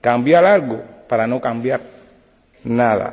cambiar algo, para no cambiar nada.